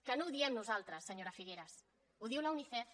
que no ho diem nosaltres senyora figueras ho diu la unicef